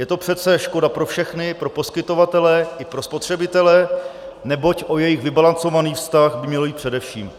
Je to přece škoda pro všechny, pro poskytovatele i pro spotřebitele, neboť o jejich vybalancovaný vztah by mělo jít především.